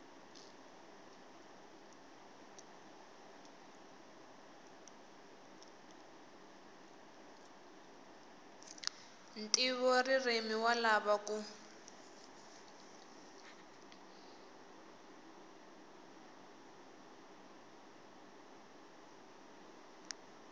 ntivoririmi wa ha lava ku